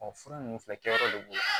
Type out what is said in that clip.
fura ninnu filɛ kɛyɔrɔ de b'o la